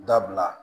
Dabila